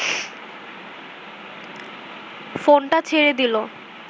ফোনটা ছেড়ে দিল